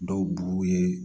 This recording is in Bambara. Dɔw b'u ye